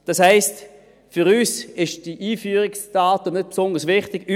Das heisst, für uns sind die Einführungsdaten nicht besonders wichtig.